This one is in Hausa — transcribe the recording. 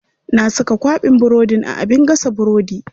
Na saka kwaɓin burodin a abin gasa burodi.